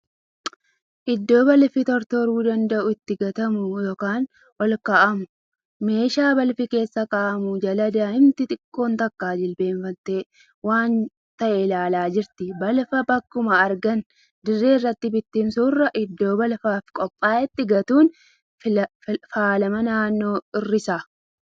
Iddoo balfi tortoruu danda'u itti gatamu yookan olkaa'amu. Meeshaa balfi keessa kaa'amu jala daa'imti xiqqoon takka jilbeenfattee waan ta'e ilaalaa jirti. Balfa bakkuma argan dirree irratti bitinsuurra iddoo balfaaf qophaa'ete gatuun faalama naannoo ni hir'isa.